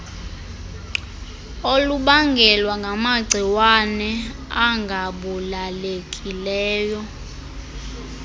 olubangelwa ngamagciwane angabulalekileyo